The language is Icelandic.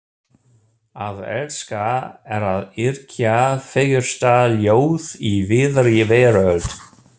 Að elska er að yrkja fegursta ljóð í víðri veröld.